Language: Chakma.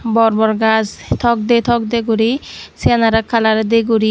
bor bor gaj tokde tokde guri siyanawre kalar de guri.